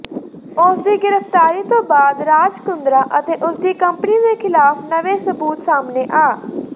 ਉਸਦੀ ਗ੍ਰਿਫਤਾਰੀ ਤੋਂ ਬਾਅਦ ਰਾਜ ਕੁੰਦਰਾ ਅਤੇ ਉਸਦੀ ਕੰਪਨੀ ਦੇ ਖਿਲਾਫ ਨਵੇਂ ਸਬੂਤ ਸਾਹਮਣੇ ਆ